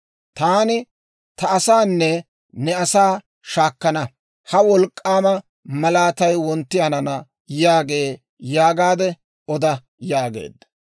Taani ta asaanne ne asaa shaakana; ha wolk'k'aama malaatay wontti hanana» yaagee› yaagaadde oda» yaageedda.